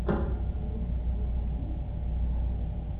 в твоем каталоге есть искатель